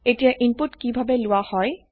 এতিয়া ইনপুট কিভাবে লোৱা হয়